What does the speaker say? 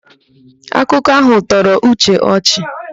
Akụkọ áhụ̀ tọrọ Uche ọchị.